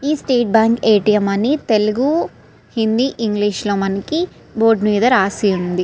ఇది State Bank ATM. అని Telugu Hindi English లో మనకి బోర్డు మీద రాసి ఉంది.